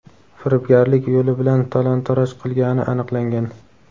firibgarlik yo‘li bilan talon-toroj qilgani aniqlangan.